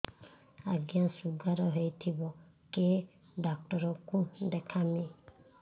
ଆଜ୍ଞା ଶୁଗାର ହେଇଥିବ କେ ଡାକ୍ତର କୁ ଦେଖାମି